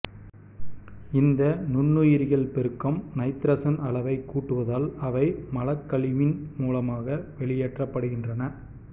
இந்த நுண்ணுயிரிகள் பெருக்கம் நைத்தரசன் அளவை கூட்டுவதால் அவை மலக்கழிவின் மூலமாக வெளியேற்றப்படுகின்றன